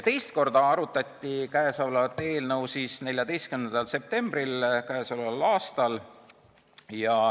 Teist korda arutati kõnealust eelnõu k.a 14. septembril.